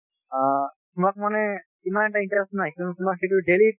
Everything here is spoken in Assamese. অ তোমাক মানে ইমান এটা interest নাই কিন্তু তোমাক সেইটো daily